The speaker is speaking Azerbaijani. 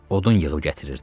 Odun yığıb gətirirdi.